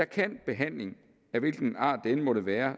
kan behandling af hvilken art den end måtte være